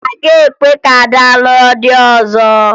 A gaghị ekwe ka Ada lụọ di ọzọ